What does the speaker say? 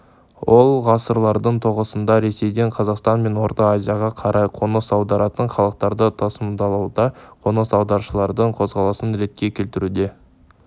ол ғасырлардың тоғысында ресейден қазақстан мен орта азияға қарай қоныс аударатын халықтарды тасымалдауда қоныс аударушылардың қозғалысын ретке келтіруде